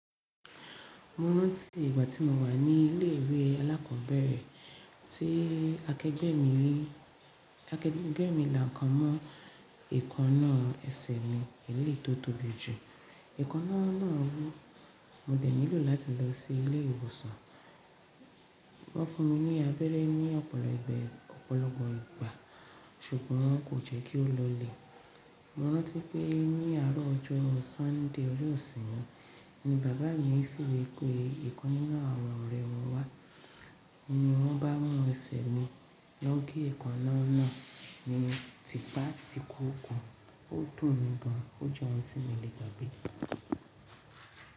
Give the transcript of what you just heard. Mo rántí ìgbà tí mo wà ní ilé ìwé alákọ̀ọ́bẹ̀rẹ̀ tí akẹgbẹ́ mi, tí akẹgbẹ́ mi la nkan mọ́ èékánná ẹsẹ̀ mi eléyìí tó tóbi jù. Ẹ̀ékánná náà wú, mo dẹ̀ nílò láti lọ sí ilé ìwòsàn. Wọ́n fún mi ní abẹ́rẹ́ ní ọ̀pọ̀lọpọ̀ ìgbà ṣùgbọ́n kò jẹ́ kí ó lọlẹ̀. Mo rántí pé ní àárọ̀ ọjọ́ Sunday ọjọ́ ìsinmi ni bàbá mi fìwé pé ìkan nínú àwọn ọ̀rẹ́ wọn wá ni wọ́n bá mú ẹsẹ̀ mi. Wọ́n gé ẹ̀ékánná náà ni tìpátìkukù ó dùn mi gan, ó jẹ́ ohun tí mi ò le gbàgbé.